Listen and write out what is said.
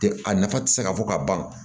Tɛ a nafa tɛ se ka fɔ ka ban